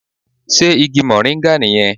Sé Igi Mòríngà nì yẹn